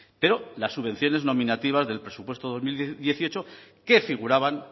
pero las subvenciones nominativas del presupuesto dos mil dieciocho que figuraban